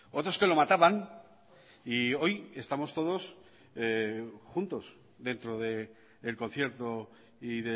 otros que lo mataban y hoy estamos todos juntos dentro del concierto y